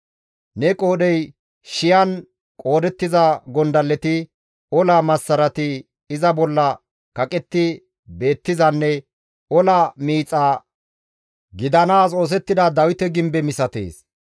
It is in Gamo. Ne qoodhey shiyan qoodettiza gondalleti, ola massarati iza bolla kaqetti beettizanne ola miixa gidanaas oosettida Dawite gimbe misatees;